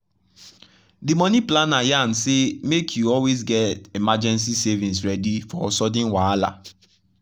the money planner yarn say make you always get emergency savings ready for sudden wahala.